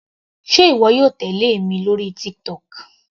Sé ìwọ yóò tèlé èmi lórí TikTok.